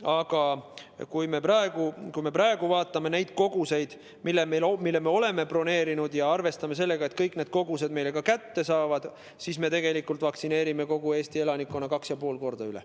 Aga kui me praegu vaatame neid koguseid, mille me oleme broneerinud, ja arvestame sellega, et me kõik need kogused ka kätte saame, siis me tegelikult võime vaktsineerida kogu Eesti elanikkonna 2,5 korda üle.